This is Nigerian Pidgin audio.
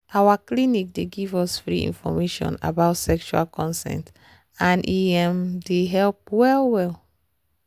our clinic dey give us free information about sexual consent and e um dey help well well.